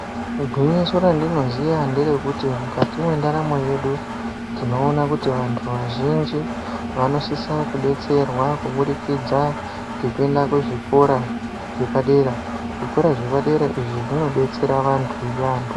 Gwinyiso randinoziya nderekuti mukati mwendaramo yedu tinoona kuti vantu vazhinji vanosisa kudetserwa kubudikidza ngekuenda kuzvikora zvepadera. Zvikora zvepadera izvi zvinodetsera vantu yaamho.